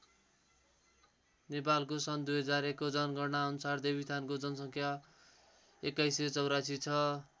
नेपालको सन् २००१ को जनगणना अनुसार देवीस्थानको जनसङ्ख्या २१८४ छ।